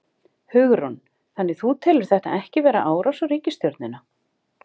Hugrún: Þannig þú telur þetta ekki vera árás á ríkisstjórnina?